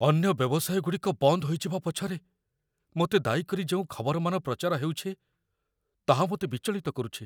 ଅନ୍ୟ ବ୍ୟବସାୟଗୁଡ଼ିକ ବନ୍ଦ ହୋଇଯିବା ପଛରେ ମୋତେ ଦାୟୀ କରି ଯେଉଁ ଖବରମାନ ପ୍ରଚାର ହେଉଛି, ତାହା ମୋତେ ବିଚଳିତ କରୁଛି।